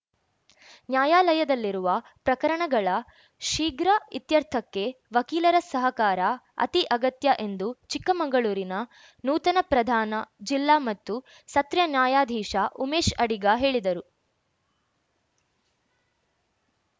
ನ್ಯಾಯಾಲಯದಲ್ಲಿರುವ ಪ್ರಕರಣಗಳ ಶೀಘ್ರ ಇತ್ಯರ್ಥಕ್ಕೆ ವಕೀಲರ ಸಹಕಾರ ಅತಿ ಅಗತ್ಯ ಎಂದು ಚಿಕ್ಕಮಂಗಳೂರಿನ ನೂತನ ಪ್ರಧಾನ ಜಿಲ್ಲಾ ಮತ್ತು ಸ ತ್ರ್ಯ್ ನ್ಯಾಯಾಧೀಶ ಉಮೇಶ್‌ ಅಡಿಗ ಹೇಳಿದರು